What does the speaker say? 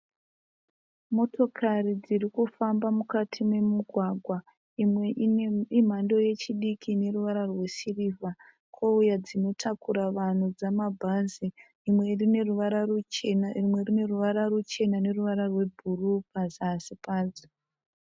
Motokari dzirikufamba mukati memugwagwa, imwe imhando yechidiki ineruvara rwesirivha kouya dzinotakura vanhu dzamabhazi. Imwe irineruvara ruchena imwe irineruvara ruchena neruvara rwebhuruu pazasi pacho.